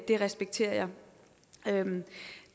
det respekterer jeg